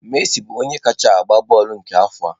Messi bụ onye kachasi agba bọọlụ nke afọ a.